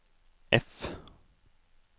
F